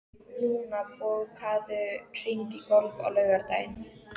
Luna, bókaðu hring í golf á laugardaginn.